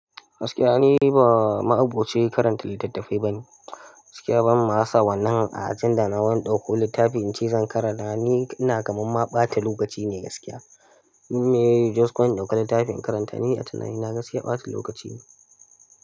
Gaskiya ni ba ma'aboci karanta littattafai bane. Gaskiya ban ma sa wannan a ajanda na wani dauko littafin ince zan karanta ba. Ni inaga kamar ma ɓata lokaci ne gaskiya. Me just kun ɗauki littafin karanta ni a tunani na gaskiya ɓata lokaci ne.